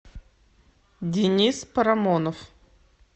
денис парамонов